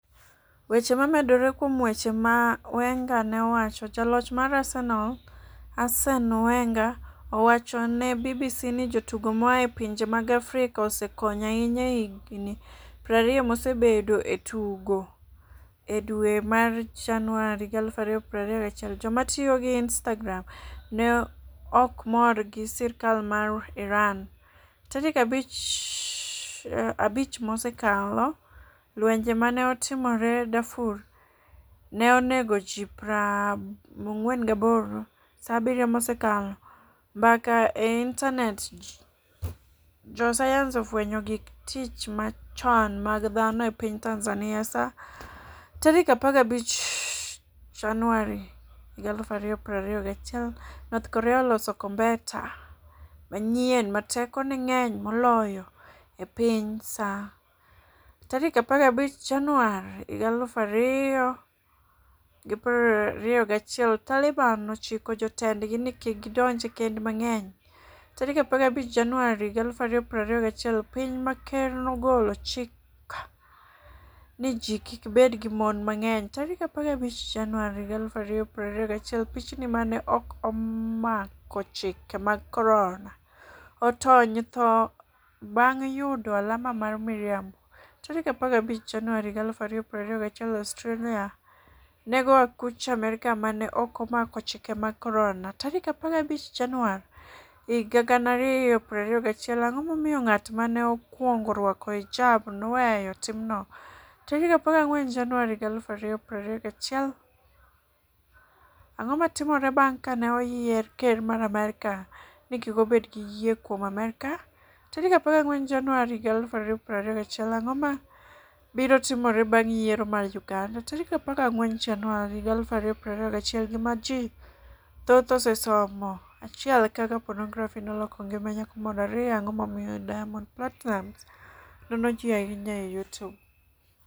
Weche momedore kuom weche ma Wenger ne owacho: Jaloch mar Arsenal, Arsene Wenger, owacho ne BBC ni jotugo moa e pinje mag Afrika osekonyo ahinya e higni 20 mosebedogo e tugo. E dwe mar Januar 2021, joma tiyo gi Instagram ne ok mor gi sirkal mar IranSa 5 mosekalo Lwenje ma ne otimore Darfur ne onego ji 48Sa 7 mosekalo Mbaka e intanet Josayans ofwenyo gik tich machon mag dhano e piny TanzaniaSa 15 Januar 2021 North Korea oloso kombeta manyien 'ma tekone ng'eny moloyo e piny'Sa 15 Januar 2021 Taliban chiko jotendgi ni kik gidonj e kend mang'enySa 15 Januar 2021 Piny ma ker nogolo chik ni ji kik bed gi mon mang'enySa 15 Januar 2021 Pichni 'ma ne ok omako chike mag corona' otony e tho bang' yudo alama mar miriamboSa 15 Januar 2021 Australia nego akuch Amerka 'ma ne ok omako chike mag Corona'Sa 15 Januar 2021 Ang'o momiyo ng'at ma ne okwongo rwako hijab ne 'oweyo timno'?Sa 14 Januar 2021 Ang'o ma timore bang' ka ne oyier ker mar Amerka ni kik obed gi yie kuom Amerka? 14 Januar 2021 Ang'o mabiro timore bang' yiero mar Uganda? 14 Januar 2021 Gima Ji Thoth Osesomo 1 Kaka Ponografi Noloko Ngima Nyako Moro 2 Ang'o Momiyo Diamond Platinumz Nono Ji Ahinya e Youtube?